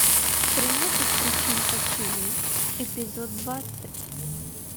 тринадцать причин почему эпизод двадцать